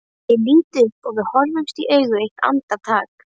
Ég lít upp og við horfumst í augu eitt andartak.